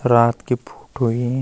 रात की फोटो यी ।